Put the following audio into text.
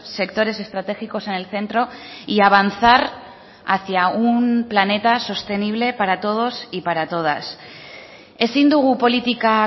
sectores estratégicos en el centro y avanzar hacia un planeta sostenible para todos y para todas ezin dugu politika